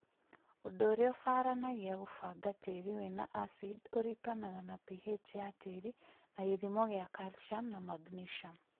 Ũndũ ũrĩa ũbaranagia kũbanga tĩĩri wĩna acid ũringanaga na pH ya tĩĩri na gĩthimo kĩa calcium na magnesium